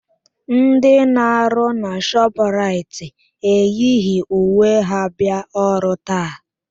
Ndị na-arụ na Shọpraịt eyighi uwe ha bịa ọrụ taa.